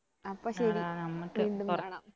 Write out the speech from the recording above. അപ്പൊ ശരി വീണ്ടും കാണാം